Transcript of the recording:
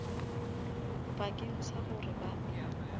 bakeng sa gore ba e